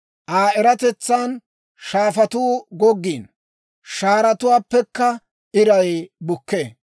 Aa eratetsan shaafatuu goggiino; shaaratuuwaappekka iray bukkee.